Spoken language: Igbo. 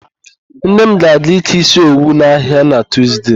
Nne m ga-aga ịke ísí owu n'ahịa na Tuzde.